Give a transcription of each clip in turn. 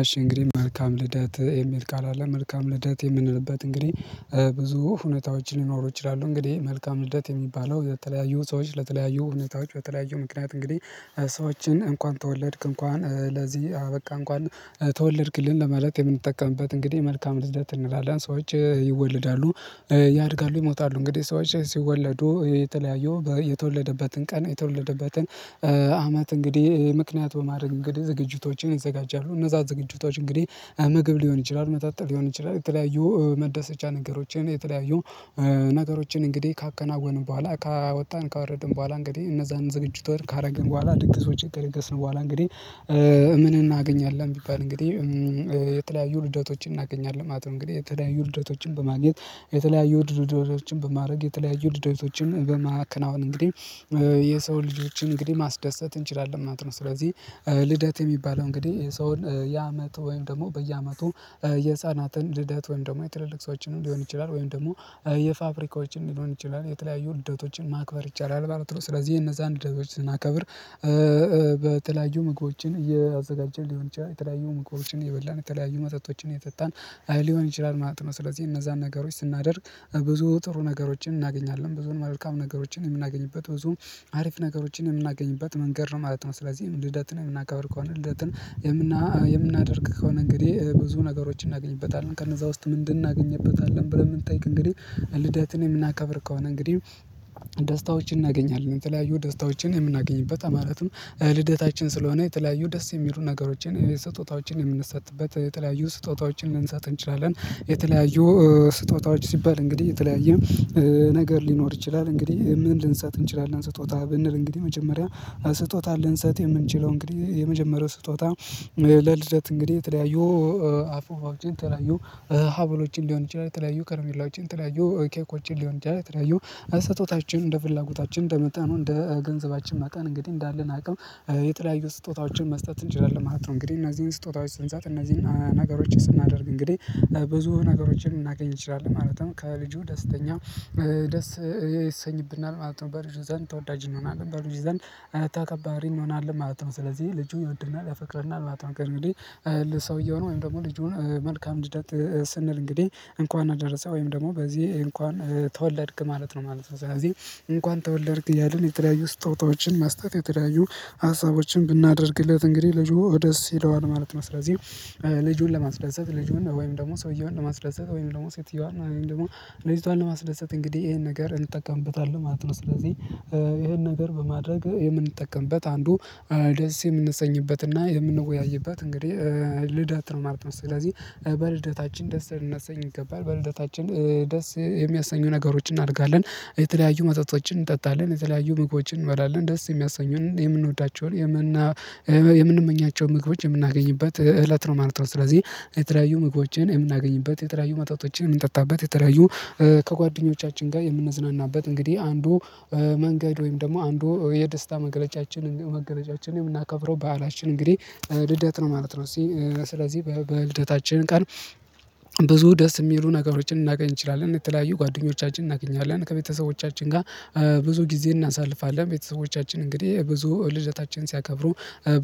እሽ እንግዲህ መልካም ልደት የሚል ቃል አለ መልካም ልደት የምንልበት እንግዲህ ብዙ ሁኔታዎች ሊኖሩ ይችላሉ። እንግዲህ መልካም ልደት የሚባለው የተለያዩ ሰዎች ለተለያዩ እውነታዎች በተለያዩ ምክንያት እንግዲህ ሰዎችን እንኳን ተወለድክ እንኳን ለዚህ አበቃ እንኳን ተወለድክልን ለማለት የምንጠቀምበት እንግዲህ መልካም ልደት እንላለን ሰዎች ይወለዳሉ። ያድጋሉ ይሞታሉ እንግዲህ ሰዎች ሲወለዱ የተለያዩ የተወለደበትን ቀን የተወለደበትን አመት እንግዲህ ምክንያት በማድረግ እንግዲህ ዝግጅቶችን ይዘጋጃሉ። እነዛ ዝግጅቶች እንግዲህ ምግብ ሊሆን ይችላል መጠጥ ሊሆን ይችላል የተለያዩ መደሰቻ ነገሮችን የተለያዩ ነገሮችን እንግዲህ ካከናወንን በኋላ ካወጣን ካወረድን በኋላ እንግዲህ እነዛን ዝግጅቶች ካደረግን በኋላ ድግስ ወጪ ድግስ ነው። በኋላ እንግዲህ ምን እናገኛለን? ቢባል እንግዲህ የተለያዩ ልደቶችን እናገኛለን ማለት ነው። እንግዲህ የተለያዩ ልደቶችን በማግኘት የተለያዩ ድርደቶችን በማድረግ የተለያዩ ልደቶችን በማከናወን እንግዲህ የሰው ልጆችን እንግዲህ ማስደሰት እንችላለን ማለት ነው። ስለዚህ ልደት የሚባለው እንግዲህ የሰውን የአመት ወይም ደግሞ በየአመቱ የህፃናትን ልደት ወይም ደግሞ የትልልቅ ሰዎችን ሊሆን ይችላል ወይም ደግሞ የፋፍሪካዎችን ሊሆን ይችላል የተለያዩ ልደቶችን ማክበር ይቻላል ባማለት ነው። ስለዚህ የነዛን ልደቶችን ስናከብር በተለያዩ ምግቦችን እያዘጋጀን ሊሆን ይችላል የተለያዩ ምግቦችን እየበላን የተለያዩ መጠጦችን እየጠጣን ሊሆን ይችላል ማለት ነው። ስለዚህ እነዛን ነገሮች ስናደርግ ብዙ ጥሩ ነገሮችን እናገኛለን ብዙን መልካም ነገሮችን የምናገኝበት ብዙም አሪፍ ነገሮችን የምናገኝበት መንገድ ነው ማለት ነው። ስለዚህ ልደትን የምናከብር ከሆነ ልደትን የምናደርግ ከሆነ እንግዲህ ብዙ ነገሮችን እናገኝበታለን ከነዛ ውስጥ ምንድን እናገኝበታለን ብለን ብንጠይቅ? እንግዲህ ልደትን የምናከብር ከሆነ እንግዲህ ደስታዎችን እናገኛለን የተለያዩ ደስታዎችን የምናገኝበት ማለትም ልደታችን ስለሆነ የተለያዩ ደስ የሚሉ ነገሮችን ስጦታዎችን የምንሰጥበት የተለያዩ ስጦታዎችን ልንሰጥ እንችላለን። የተለያዩ ስጦታዎች ሲባል እንግዲህ የተለያየ ነገር ሊኖር ይችላል። እንግዲህ ምን ልንሰጥ እንችላለን? ስጦታ ብንል እንግዲህ መጀመሪያ ስጦታ ልንሰጥ የምንችለው እንግዲህ የመጀመሪያው ስጦታ ለልደት እንግዲህ ተለያዩ አፉፋዎችን የተለያዩ ሀብሎችን ሊሆን ይችላል። ተለያዩ ከረሜላዎችን ትለያዩ ኬኮችን ሊሆን ይችላል የተለያዩ አስጦቶታችን እንደ ፍላጎታችን እንደመጠኑ እንደ ገንዘባችን መጠን እንግዲህ እንዳለን አቅም የተለያዩ ስጦታዎችን መስጠት እንችላለን ማለት ነው። እንግዲህ እነዚህን ስጦታዎች ስንሰጥ እነዚህን ነገሮች ስናደርግ እንግዲህ ብዙ ነገሮችን ልናገኝ እንችላለን ማለትም ከልጁ ደስተኛ ደስ የሰኝብናል ማለት ነው። በልጁ ዘንድ ተወዳጅ እንሆናለን በልጁ ዘንድ ተከባሪ እንሆናለን ማለት ነው። ስለዚህ ልጁ ይወድናል ያፈቅረናል ማለት ነው። ከእንግዲህ ለሰውየው ነው ወይም ደግሞ ልጁን መልካም ልደት ስንል እንግዲህ እንኳን አደረሰ ወይም ደግሞ በዚህ እንኳን ተወለድክ ማለት ነው። ማለት ነው ስለዚህ እንኳን ተወለድክ እያልን የተለያዩ ስጦታዎችን መስጠት የተለያዩ ሀሳቦችን ብናደርግለት እንግዲህ ልጁ ደስ ይለዋል ማለት ነው። ስለዚህ ልጁን ለማስደሰት ልጁን ወይም ደግሞ ሰውየውን ለማስደስት ወይም ደግሞ ሴትየዋን ወይም ደግሞ ልጅቷን ለማስደሰት እንግዲህ ይሄን ነገር እንጠቀምበታለን ማለት ነው። ስለዚህ ይሄን ነገር በማድረግ የምንጠቀምበት አንዱ ደስ የምንሰኝበትና የምንወያይበት እንግዲህ ልደት ነው ማለት ነው። ስለዚህ በልደታችን ደስ ልናሰኝ ይገባል በልደታችን ደስ የሚያሰኙ ነገሮችን እናረጋለን የተለያዩ መጠጦችን እንጠጣለን የተለያዩ ምግቦችን እንበላለን ደስ የሚያሰኙን የምንወዳቸውን የምንመኛቸው ምግቦች የምናገኝበት እለት ነው ማለት ነው። ስለዚህ የተለያዩ ምግቦችን የምናገኝበት የተለያዩ መጣቶችን የምንጠጣበት የተለያዩ ከጓደኞቻችን ጋር የምንዝናናበት እንግዲህ አንዱ መንገድ ወይም ደግሞ አንዱ የደስታ መገለጫችን መገለጫችን የምናከብረው በዓላችን እንግዲህ ልደት ነው ማለት ነው። ስለዚህ በልደታችን ቀን ብዙ ደስ የሚሉ ነገሮችን ልናገኝ እንችላለን እየተለያዩ ጓደኞቻችን እናገኛለን ከቤተሰቦቻችን ጋር ብዙ ጊዜ እናሳልፋለን ቤተሰቦቻችን እንግዲህ ብዙ ልደታችን ሲያከብሩ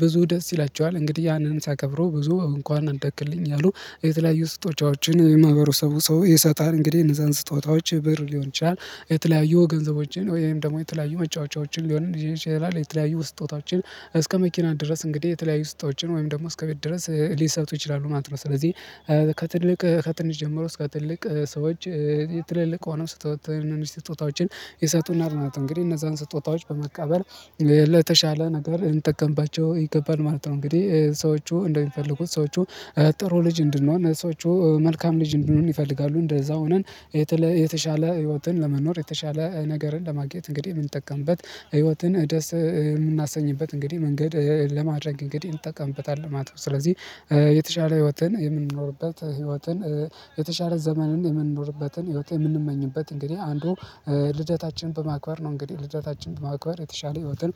ብዙ ደስ ይላችኋል። እንግዲህ ያንን ሲያከብሩ ብዙ እንኳን አደክልኝ አሉ የተለያዩ ስጦታዎችን የማህበሩ ሰው ይሰጣል እንግዲህ እነዛን ስጦታዎች ብር ሊሆን ይችላል። የተለያዩ ገንዘቦችን ወይም ደግሞ የተለያዩ መጫወቻዎችን ሊሆን ይችላል የተለያዩ ስጦታዎችን እስከ መኪና ድረስ እንግዲህ የተለያዩ ስጦታዎችን ወይም ደግሞ እስከ ቤት ድረስ ሊሰጡ ይችላሉ ማለት ነው። ስለዚህ ከትልቅ ከትንሽ ጀምሮ እስከ ትልቅ ሰዎች የትልልቅ ሆነ ስጦታዎችን የሰጡናል ማለት ነው። እንግዲህ እነዛን ስጦታዎች በመቀበል ለተሻለ ነገር ልንጠቀምባቸው ይገባል ማለት ነው። እንግዲህ ሰዎቹ እንደሚፈልጉት ሰዎቹ ጥሩ ልጅ እንድንሆን ሰዎቹ መልካም ልጅ እንድንሆን ይፈልጋሉ። እንደዛ ሆነን የተሻለ ህይወትን ለመኖር የተሻለ ነገርን ለማግኘት እንግዲህ የምንጠቀምበት ህይወትን ደስ የምናሰኝበት እንግዲህ መንገድ ለማድረግ እንግዲህ እንጠቀምበታለን ማለት ነው። ስለዚህ የተሻለ ህይወትን የምንኖርበት ህይወትን የተሻለ ዘመንን የምንኖርበትን ህይወት የምንመኝበት እንግዲህ አንዱ ልደታችን በማክበር ነው እንግዲህ ልደታችን በማክበር የተሻለ ህይወትን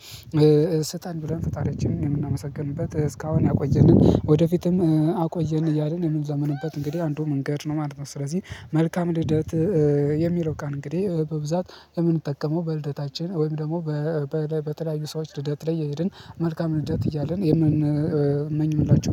ስጠን ብለን ፈጥሪያችንን የምናመሰግንበት እስካሁን ያቆየንን ወደፊትም አቆየን እያልን የምንለመንበት እንግዲህ አንዱ መንገድ ነው ማለት ነው። ስለዚህ መልካም ልደት የሚለው ቃል እንግዲህ በብዛት የምንጠቀመው በልደታችን ወይም ደግሞ በተለያዩ ሰዎች ልደት ላይ እየሄድን መልካም ልደት እያልን የምንመኝ የምንላቸው